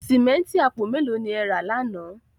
Símẹ́ǹtì àpò mẹ́lò ni e ẹ̀ rà láńà?